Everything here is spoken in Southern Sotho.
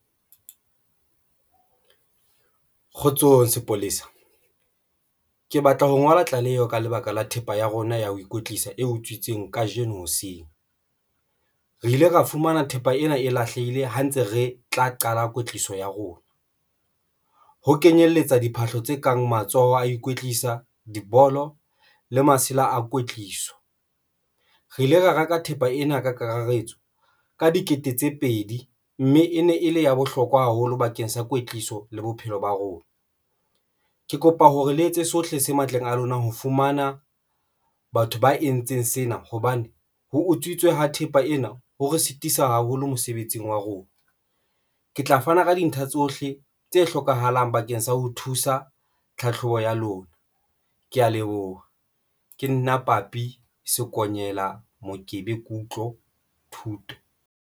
Kgotsong sepolesa ke batla ho ngola tlaleho ka lebaka la thepa ya rona ya ho ikwetlisa e utswitsweng kajeno hoseng. Re ile ra fumana thepa ena e lahlehile ha ntse re tla qala kwetliso ya rona ho kenyelletsa diphahlo tse kang matsoho, a ikwetlisa dibolo le masela a kwetliso. Re ile ra reka thepa ena ka kakaretso ka dikete tse pedi mme e ne e le ya bohlokwa haholo bakeng sa kwetliso le bophelo ba rona. Ke kopa hore le etse sohle se matleng a lona. Ho fumana batho ba entseng sena hobane ho utswitswe ha thepa ena ho re sitisa haholo mosebetsing wa rona, ke tla fana ka dintlha tsohle tse hlokahalang bakeng sa ho thusa tlhatlhobo ya lona. Ke ya leboha. Ke nna Papi Sekonyela Mokele Kutlo Thuto,